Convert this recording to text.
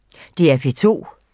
DR P2